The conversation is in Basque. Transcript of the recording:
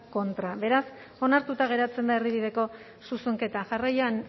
contra beraz onartuta geratzen da erdibideko zuzenketa jarraian